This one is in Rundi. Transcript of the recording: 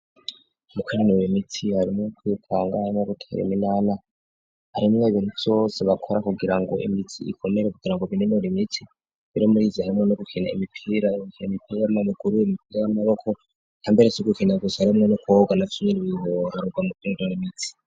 Mu kinenire imitsi harimwo kwitanga no guteya iminana harimwe ibintu byose bakora kugira ngo imitsi ikomere kugira ngo bininura imitsi bero muriizi harimwe no gukina imipira imiperarma mukuru 'imipira y'amaboko yambere so gukina gusarimwe no kuoga na fiir bihorarwa mu kinda n imitsi.